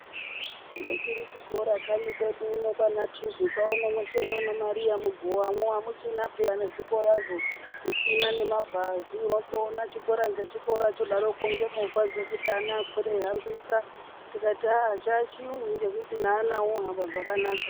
Ngechiri chikora kanyi kwedu uno kwana tuzuka uno mweshe mwana mwariya mugovamo hamuchina peya nezvikorazvo. Zvisina ngemabhazi votoona chikora ngechikora chodaroko ngemovha dzekuti ana akwire eihambisa. Tikati aa chachiyungu ngekuti naana ohamba zvakanaka.